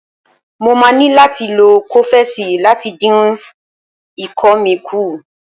Mo máa ní láti lo kọ́fẹ́sì láti dín ikọ́ mi kù.